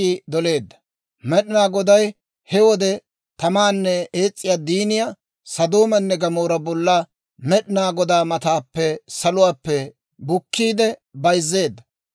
Med'inaa Goday he wode tamaanne ees's'iyaa diiniyaa Sodoomanne Gamoora bollan Med'inaa Godaa mataappe saluwaappe bukiide bayzzeedda.